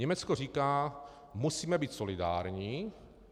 Německo říká: musíme být solidární.